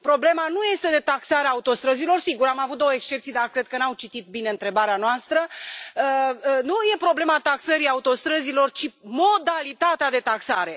Problema nu ține de taxarea autostrăzilor sigur, am avut două excepții, dar cred că n au citit bine întrebarea noastră nu e problema taxării autostrăzilor, ci modalitatea de taxare.